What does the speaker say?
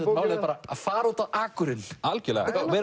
málið er bara að fara út á akurinn algjörlega þetta er